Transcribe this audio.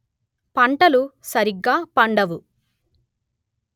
పంటలు సరిగా పండవు